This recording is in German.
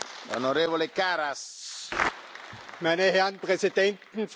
Meine Herren Präsidenten, Frau Ratspräsidentin, Herr Ministerpräsident!